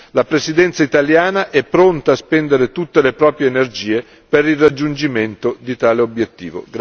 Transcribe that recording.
La Presidenza italiana è pronta a spendere tutte le proprie energie per il raggiungimento di tale obiettivo.